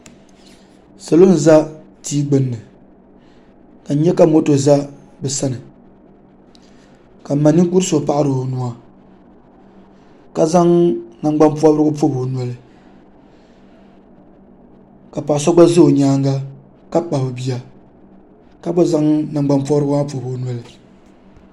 sola n-za tia gbunni ka n nya ka moto za bɛ sani ka m ma ninkur' so paɣiri o nuu ka zaŋ nangbampɔbirigu m-pɔbi o noli ka paɣa so gba za o nyaaŋa ka kpabi bia ka gba zaŋ nangbampɔbirigu maa m-pɔbi o noli